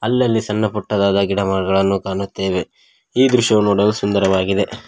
ಅಲ್ಲಲ್ಲಿ ಸಣ್ಣ ಪುಟ್ಟದಾದ ಗಿಡ ಮರಗಳನ್ನು ಕಾಣುತ್ತೆವೆ ಈ ದೃಶ್ಯವು ನೋಡಲು ಸುಂದರವಾಗಿದೆ.